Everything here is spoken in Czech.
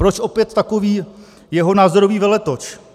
Proč opět takový jeho názorový veletoč?